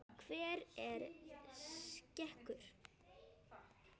Hver er sekur?